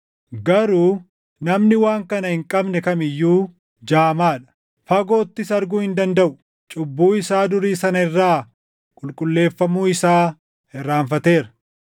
Garuu namni waan kana hin qabne kam iyyuu jaamaa dha; fagoottis arguu hin dandaʼu; cubbuu isaa durii sana irraa qulqulleeffamuu isaa irraanfateera.